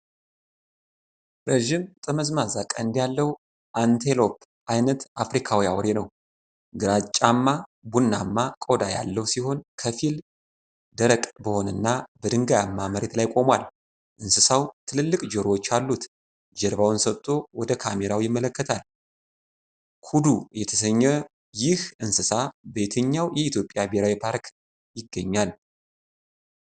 ረዥም ጠመዝማዛ ቀንድ ያለው አንቴሎፕ አይነት አፍሪካዊ አውሬ ነው። ግራጫማ ቡናማ ቆዳ ያለው ሲሆን፣ ከፊል ደረቅ በሆነና በድንጋያማ መሬት ላይ ቆሟል። እንስሳው ትልልቅ ጆሮዎች አሉት። ጀርባውን ሰጥቶ ወደ ካሜራው ይመለከታል። ኩዱ የተሰኘው ይህ እንስሳ በየትኞቹ የኢትዮጵያ ብሔራዊ ፓርኮች ይገኛል?